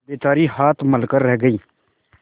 बेचारी हाथ मल कर रह गयी